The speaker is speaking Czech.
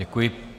Děkuji.